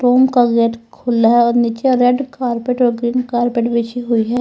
Room का gate खुला है और नीचे रेड कारपेट और ग्रीन कारपेट बिछी हुई है।